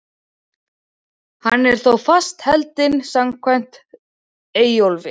Hann er þó fastheldinn samkvæmt Eyjólfi.